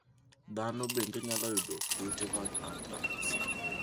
Dhano bende nyalo yudo kute mag anthrax.